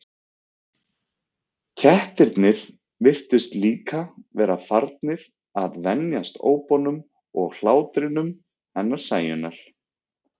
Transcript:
Kettirnir virtust líka vera farnir að venjast ópunum og hlátrinum hennar Sæunnar.